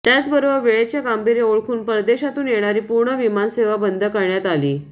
त्याचबरोबर वेळेचे गांभीर्य ओळखून परदेशातून येणारी पूर्ण विमानसेवा बंद करण्यात आली